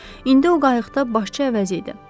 İndi o qayıqda başçı əvəzi idi.